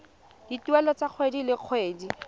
dituelo tsa kgwedi le kgwedi